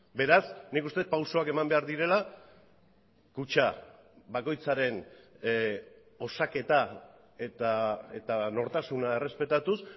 beraz nik uste dut pausuak eman behar direla kutxa bakoitzaren osaketa eta nortasuna errespetatuz